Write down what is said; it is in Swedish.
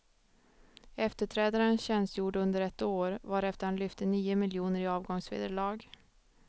Efterträdaren tjänstgjorde under ett år, varefter han lyfte nio miljoner i avgångsvederlag.